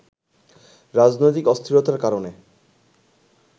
রাজনৈতিক অস্থিরতার কারণে